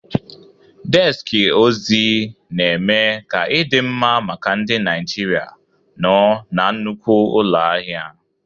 Deski ozi na-eme ka ịdị mma maka ndị Naijiria nọ na nnukwu ụlọ ahịa.